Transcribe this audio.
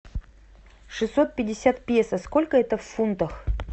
шестьсот пятьдесят песо сколько это в фунтах